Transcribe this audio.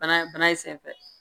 Bana in senfɛ